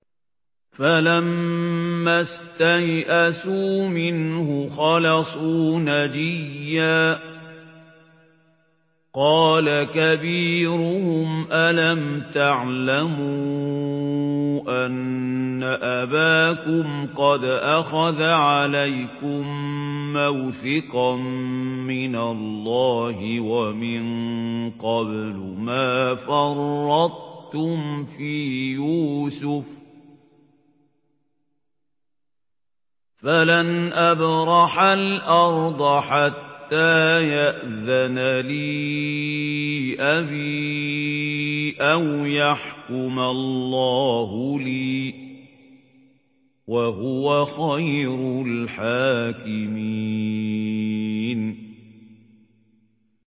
فَلَمَّا اسْتَيْأَسُوا مِنْهُ خَلَصُوا نَجِيًّا ۖ قَالَ كَبِيرُهُمْ أَلَمْ تَعْلَمُوا أَنَّ أَبَاكُمْ قَدْ أَخَذَ عَلَيْكُم مَّوْثِقًا مِّنَ اللَّهِ وَمِن قَبْلُ مَا فَرَّطتُمْ فِي يُوسُفَ ۖ فَلَنْ أَبْرَحَ الْأَرْضَ حَتَّىٰ يَأْذَنَ لِي أَبِي أَوْ يَحْكُمَ اللَّهُ لِي ۖ وَهُوَ خَيْرُ الْحَاكِمِينَ